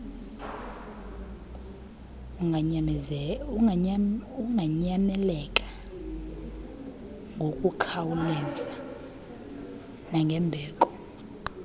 unganyamekela kngokukhawuleza nangembeko